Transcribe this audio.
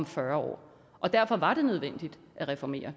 fyrre år derfor var det nødvendigt at reformere